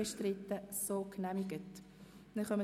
– Das ist der Fall.